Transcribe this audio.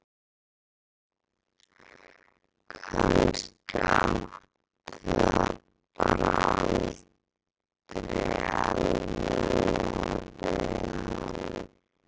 Kannski átti það bara aldrei almennilega við hann.